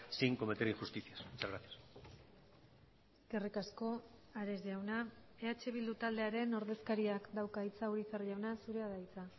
sin cometer injusticias muchas gracias eskerrik asko ares jauna eh bildu taldearen ordezkariak dauka hitza urizar jauna zurea da hitza